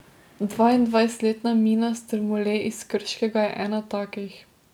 Dvaindvajsetletna Mina Strmole iz Krškega je ena takih.